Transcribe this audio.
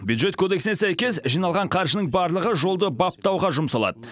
бюджет кодексіне сәйкес жиналған қаржының барлығы жолды баптауға жұмсалады